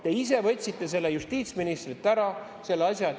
Te ise võtsite selle justiitsministrilt ära.